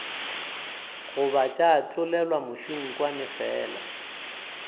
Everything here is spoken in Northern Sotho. goba tša tlolelwa mešunkwane fela